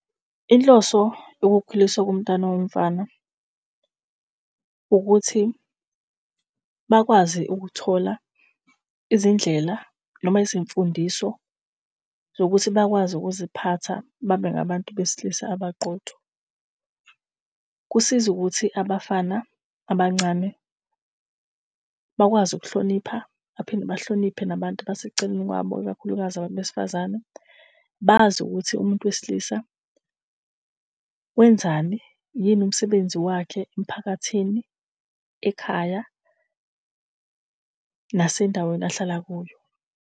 Inhloso yokukhuliswa komntwana womfana ukuthi bakwazi ukuthola izindlela noma izimfundiso zokuthi bakwazi ukuziphatha babe ngabantu besilisa abaqotho. Kusiza ukuthi abafana abancane bakwazi ukuhlonipha, baphinde bahloniphe nabantu abaseceleni kwabo, ikakhulukazi abantu besifazane. Bazi ukuthi umuntu wesilisa wenzani, yini umsebenzi wakhe emphakathini, ekhaya nasendaweni ahlala kuyo.